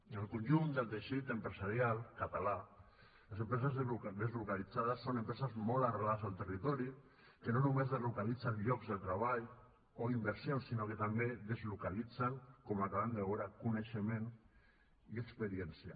en el conjunt del teixit empresarial català les empreses deslocalitzades són empreses molt arrelades al territori que no només deslocalitzen llocs de treball o inversions sinó que també deslocalitzen com acabem de veure coneixement i experiència